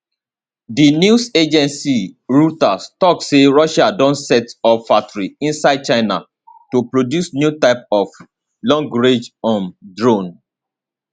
di news agency reuters tok say russia don set up factory inside china to produce new type of longrange um drone